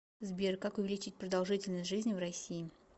сбер как увеличить продолжительность жизни в россии